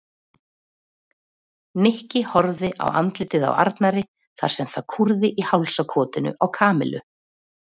Nikki horfði á andlitið á Arnari þar sem það kúrði í hálsakotinu á Kamillu.